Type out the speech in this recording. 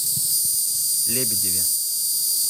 лебедеве